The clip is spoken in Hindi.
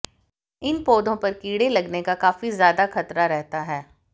इन पौधों पर कीड़े लगने का काफी ज्यादा खतरा रहता है